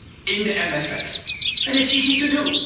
in the MFF and it's easy to